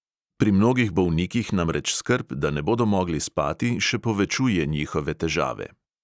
Pri mnogih bolnikih namreč skrb, da ne bodo mogli spati, še povečuje njihove težave.